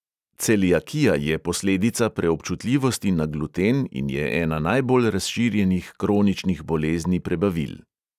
Celiakija je posledica preobčutljivosti na gluten in je ena najbolj razširjenih kroničnih bolezni prebavil.